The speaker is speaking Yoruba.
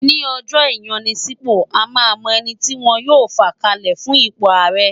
Ní ọjọ́ ìyanisípò, a máa mọ ẹni tí wọn yóò fà kalẹ̀ fún ipò ààrẹ